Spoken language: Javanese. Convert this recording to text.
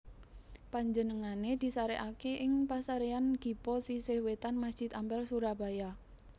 Panjenengané disarèkaké ing Pasaréyan Gipo sisih wétan Masjid Ampel Surabaya